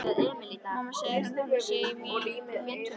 Mamma segir að Nonni sé í mútum.